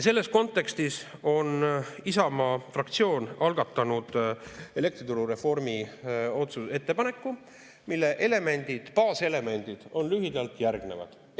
Selles kontekstis on Isamaa fraktsioon algatanud elektrituru reformi ettepaneku, mille elemendid, baaselemendid on lühidalt järgnevad.